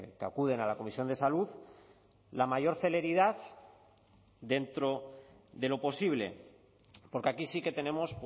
que acuden a la comisión de salud la mayor celeridad dentro de lo posible porque aquí sí que tenemos